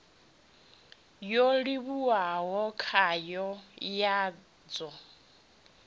yo livhiwaho khayo ya ḽu